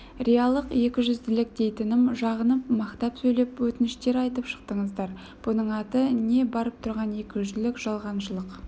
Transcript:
риялық екіжүзділік дейтінім жағынып мақтап сөйлеп өтініштер айтып шықтыңыздар бұның аты не барып тұрған екіжүзділік жалғаншылық